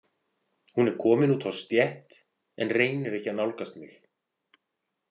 Hún er komin út á stétt en reynir ekki að nálgast mig.